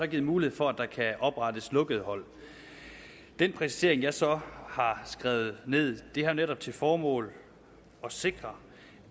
givet mulighed for at der kan oprettes lukkede hold den præcisering som jeg så har skrevet ned har netop til formål at sikre